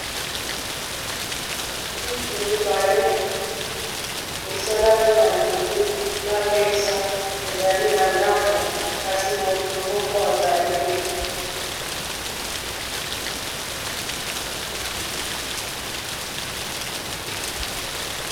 Kiti mibale esalami na nzete na mesa ezali na ndako kasi moto moko azali te.